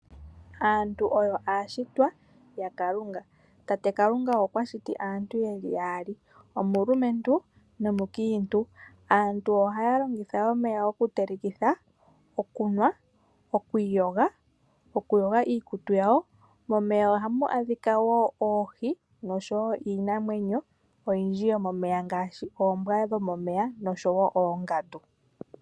Aantu oyo aashitwa ya Kalunga. Tate Kalunga okwa shiti aantu ye li yaali ,omulumentu nomukiintu. Aantu ohaya longitha omeya oku telekitha , okunwa ,okwii yoga ,oku yoga iikutu yawo. Momeya ohamu adhika woo oohi nosho woo iinamwenyo oyindji yo momeya ngaashi oombwa dho momeya nosho woo oongandu.